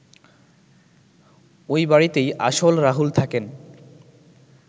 ওই বাড়িতেই আসল রাহুল থাকেন